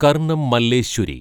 Karnam Malleshwari